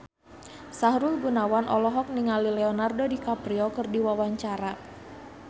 Sahrul Gunawan olohok ningali Leonardo DiCaprio keur diwawancara